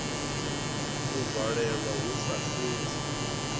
u valelwa hu sa sedzi